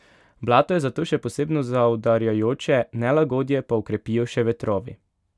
Blato je zato še posebno zaudarjajoče, nelagodje pa okrepijo še vetrovi.